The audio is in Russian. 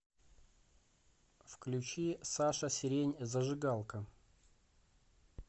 включи саша сирень зажигалка